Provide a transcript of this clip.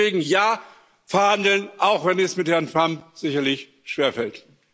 Deswegen Ja, verhandeln, auch wenn es mit Herrn Trump sicherlich schwerfällt.